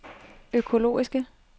økologiske